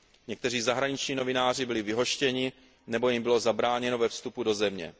Někteří zahraniční novináři byli vyhoštěni nebo jim bylo zabráněno ve vstupu do země.